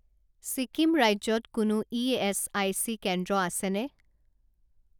ছিকিম ৰাজ্যত কোনো ইএচআইচি কেন্দ্ৰ আছেনে?